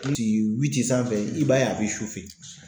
ti witi sanfɛ i b'a ye a be